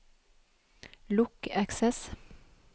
lukk Access